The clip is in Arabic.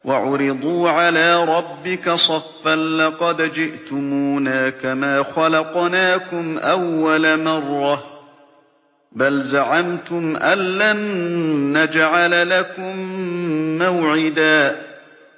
وَعُرِضُوا عَلَىٰ رَبِّكَ صَفًّا لَّقَدْ جِئْتُمُونَا كَمَا خَلَقْنَاكُمْ أَوَّلَ مَرَّةٍ ۚ بَلْ زَعَمْتُمْ أَلَّن نَّجْعَلَ لَكُم مَّوْعِدًا